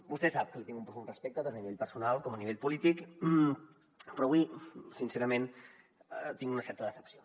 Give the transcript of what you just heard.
vostè sap que li tinc un profund respecte tant a nivell personal com a nivell polític però avui sincerament tinc una certa decepció